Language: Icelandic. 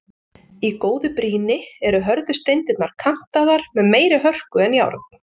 Í góðu brýni eru hörðu steindirnar kantaðar með meiri hörku en járn.